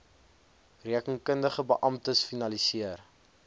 rekeningkundige beamptes finaliseer